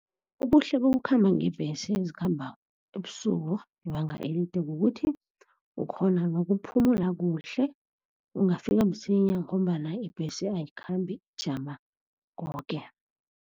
Ubuhle bokukhamba ngeembhesi ezikhamba ebusuku, ibanga elide, kukuthi ukghona nokuphumula kuhle. Ungafika msinya ngombana ibhesi ayikhambi ijama koke.